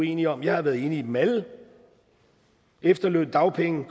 enige om jeg har været enig i dem alle efterlønsreformen